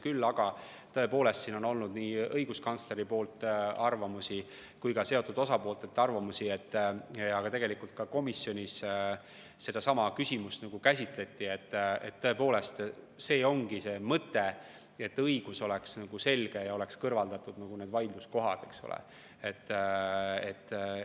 Küll aga on olnud nii õiguskantslerilt kui ka seotud osapooltelt kuulda olnud arvamusi – ja tegelikult ka komisjonis seda küsimust käsitleti –, et tõepoolest, mõte ongi selles, et õigus oleks selge ja oleks need vaidluskohad kõrvaldatud.